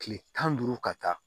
Kile tan ni duuru ka taa